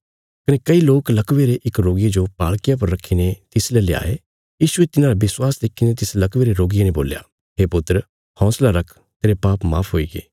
तिस वगत किछ लोक लकवे रे इक रोगिये जो पाल़किया पर रखीने तिसले ल्याये तिन्हांरा विश्वास देखीने यीशुये तिस लकवे रे रोगिये ने बोल्या हे पुत्र हौंसला रख तेरे पाप माफ हुईगे